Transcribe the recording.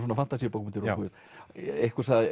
fantasíubókmenntir og einhver sagði